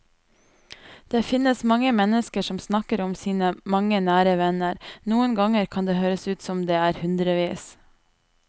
Det finnes mennesker som snakker om sine mange nære venner, noen ganger kan det høres ut som om det er hundrevis.